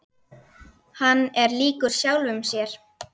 Hann er líkur sjálfum sér.